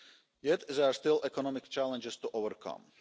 Yet, there are still economic challenges to overcome.